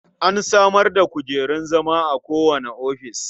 An samar da kujerun zama a kowane ofis.